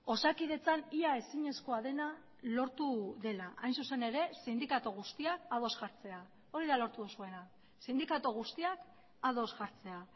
osakidetzan ia ezinezkoa dena lortu dela hain zuzen ere sindikatu guztiak ados jartzea hori da lortu duzuena sindikatu guztiak ados jartzea